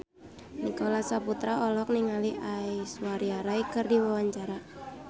Nicholas Saputra olohok ningali Aishwarya Rai keur diwawancara